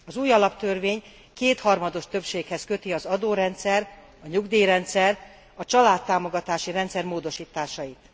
Az új alaptörvény kétharmados többséghez köti az adórendszer, a nyugdíjrendszer, a családtámogatási rendszer módosításait.